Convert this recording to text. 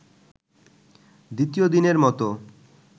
দ্বিতীয় দিনের মতো